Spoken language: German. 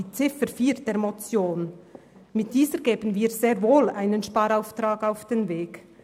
Mit der Ziffer 4 der Motion geben wir der Schule sehr wohl einen Sparauftrag mit auf den Weg.